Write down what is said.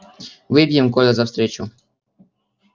выпьем коля за встречу